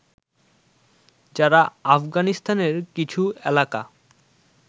যারা আফগানিস্তানের কিছু এলাকা